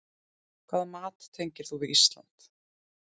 Hvaða mat tengir þú við Ísland?